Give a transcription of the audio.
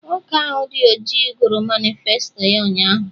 Nwoke ahụ dị ọjị gụrụ manịfesto ya ụnyaahụ